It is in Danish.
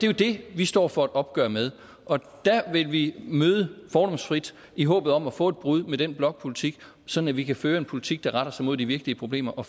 jo det vi står for et opgør med og der vil vi møde fordomsfrit i håbet om at få et brud med den blokpolitik sådan at vi kan føre en politik der retter sig mod de virkelige problemer og